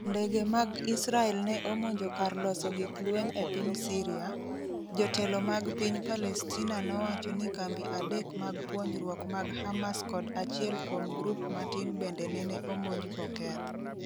Ndege mag Israel ne omonjo kar loso gik lweny e piny Syria, Jotelo mag piny Palestina nowacho ni kambi adek mag puonjruok mag Hamas kod achiel kuom grup matin bende nene omonj boketh.